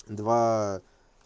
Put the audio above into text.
два